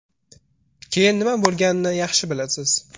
Keyin nima bo‘lganini yaxshi bilasiz.